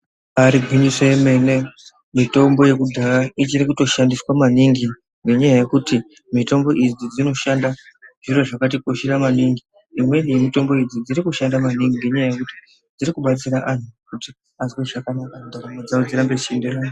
Ribaari gwinyiso remene mitombo yekudhaya ichiri kutoshandiswa maningi nenyaya yekuti mitombo idzi dzinoshanda zviro zvakatikoshera maningi imweni yemitombo idzi dzirikushanda maningi ngenyaya yekuti dzirikubatsira anhu kuti azwe zvakanaka ndaramo dzawo dzeirambe dzeyiende mberi....